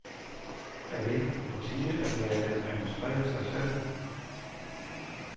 Er det ikke på tide at lade dem administrere sig selv?